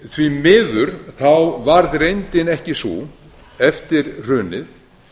því miður varð reyndin ekki sú eftir hrunið